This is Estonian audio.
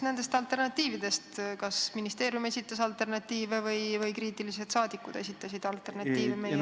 Kas ministeerium esitas alternatiive või kriitilised saadikud esitasid alternatiive?